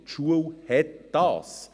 Die Schule hat dies.